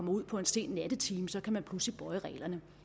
ud på en sen nattetime så kan man pludselig bøje reglerne